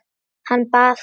Hann bað þig.